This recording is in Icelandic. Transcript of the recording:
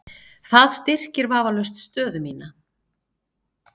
Það styrkir vafalaust stöðu mína.